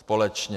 Společně.